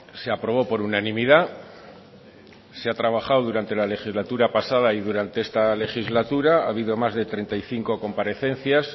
se aprobó por unanimidad se ha trabajado durante la legislatura pasada y durante esta legislatura ha habido más de treinta y cinco comparecencias